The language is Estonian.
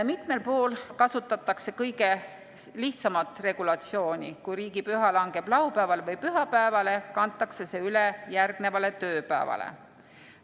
Mitmel pool kasutatakse kõige lihtsamat regulatsiooni: kui riigipüha langeb laupäevale või pühapäevale, kantakse see üle järgnevale tööpäevale.